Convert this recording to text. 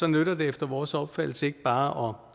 nytter det efter vores opfattelse ikke bare